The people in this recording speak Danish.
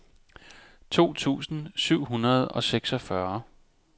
to tusind syv hundrede og seksogfyrre